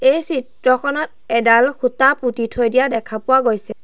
এই চিত্ৰখনত এডাল খুঁটা পুতি থৈ দিয়া দেখা পোৱা গৈছে।